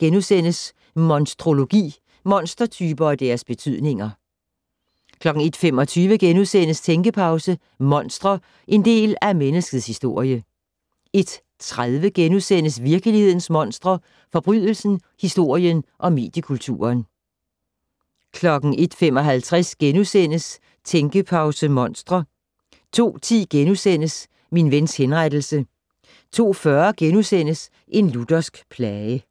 01:01: Monstrologi: Monstertyper og deres betydninger * 01:25: Tænkepause: Monstre - en del af menneskets historie * 01:30: Virkelighedens monstre: Forbrydelsen, historien og mediekulturen * 01:55: Tænkepause - Monstre * 02:10: Min vens henrettelse * 02:40: En luthersk plage *